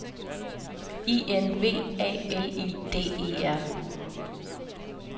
I N V A L I D E R